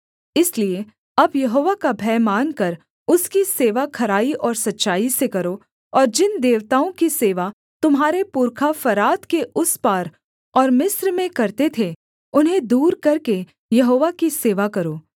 इसलिए अब यहोवा का भय मानकर उसकी सेवा खराई और सच्चाई से करो और जिन देवताओं की सेवा तुम्हारे पुरखा फरात के उस पार और मिस्र में करते थे उन्हें दूर करके यहोवा की सेवा करो